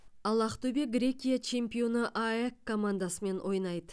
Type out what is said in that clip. ал ақтөбе грекия чемпионы аэк командасымен ойнайды